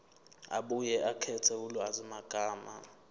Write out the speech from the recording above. abuye akhethe ulwazimagama